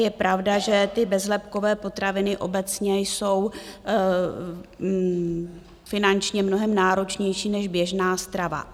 Je pravda, že ty bezlepkové potraviny obecně jsou finančně mnohem náročnější než běžná strava.